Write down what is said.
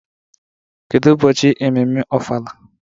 Kedu ụbọchị bụ ememme ofala?